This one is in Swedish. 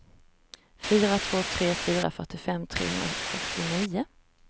fyra två tre fyra fyrtiofem trehundrafyrtionio